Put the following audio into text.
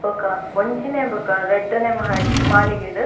ಬೊಕ ಒಂಜಿನೆ ಬೊಕ ರಡ್ಡೆ ನೆ ಮಹಡಿ ಮಾಳಿಗೆಡ್.